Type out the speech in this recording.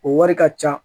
O wari ka ca